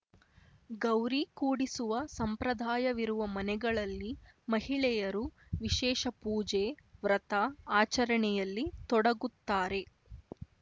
ಗೌರಿ ಕೂಡಿಸುವ ಸಂಪ್ರದಾಯವಿರುವ ಮನೆಗಳಲ್ಲಿ ಮಹಿಳೆಯರು ವಿಶೇಷ ಪೂಜೆ ವ್ರತ ಆಚರಣೆಯಲ್ಲಿ ತೊಡಗುತ್ತಾರೆ